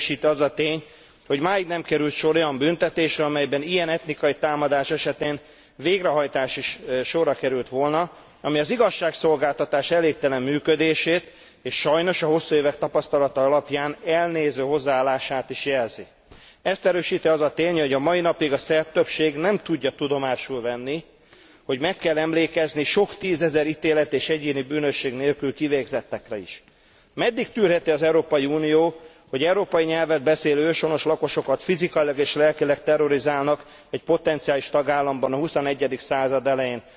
Ezt erősíti az a tény, hogy máig nem került sor olyan büntetésre, amelyben ilyen etnikai támadás esetén végrehajtás is sorra került volna, ami az igazságszolgáltatás elégtelen működését és sajnos, a hosszú évek tapasztalata alapján, elnéző hozzáállását is jelzi. Ezt erősíti az a tény, hogy a mai napig a szerb többség nem tudja tudomásul venni, hogy meg kell emlékezni sok tízezer ítélet és egyéni bűnösség nélkül kivégzettekre is. Meddig tűrheti az Európai Unió, hogy európai nyelvet beszélő őshonos lakosokat fizikailag és lelkileg terrorizálnak egy potenciális tagállamban a XXI. század elején?